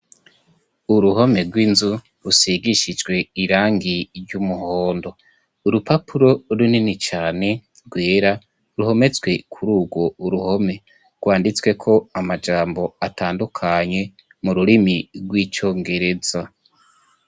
uruhome rw'inzu rusigishijwe irangi ry'umuhondo urupapuro runini cyane rwera ruhometswe kuri urwo uruhome rwanditswe ko amajambo atandukanye mururimi rw'icyongereza